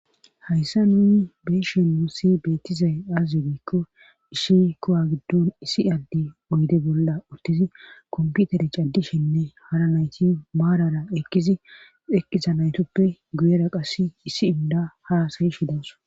Hayssa nuni beeshen muussi beettizay aazizu giikko ishi kowa giddon issi adde oyde bolla uttizi komputere caddishenne hara nayti maarara eqqizi eqqiza naytuppe guyera qass issi inda haasayi shidaws.